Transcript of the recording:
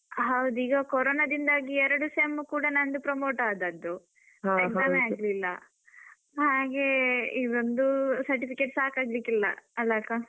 ಹೌದು ಈಗ ಕರೋನದಿಂದಾಗಿ ಎರಡು sem ಕೂಡಾ ನಂದು promote ಆದದ್ದು exam ಏ ಆಗ್ಲಿಲ್ಲ, ಹಾಗೆ. ಇದೊಂದು certificate ಸಾಕಾಗ್ಲಿಕ್ಕಿಲ್ಲ ಅಲಾ ಅಕ್ಕಾ?